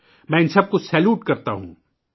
میں ، اُن سب کو سلام پیش کرتا ہوں